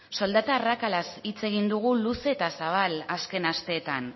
soldata arrakalaz hitz egin dugu luze eta zabal azken asteetan